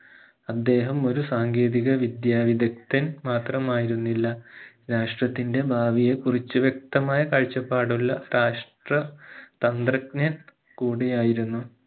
അദ്ദേഹം ഒരു സാങ്കേതിക വിദ്യ വിദക്തൻ മാത്രമായിരുന്നില്ല രാഷ്ട്രത്തിന്റെ ഭാവിയെ കുറിച്ച് വ്യക്തമായ കാഴ്ചപ്പാടുള്ള രാഷ്ട്ര തന്ത്രജ്ഞൻ കൂടിയായിരുന്നു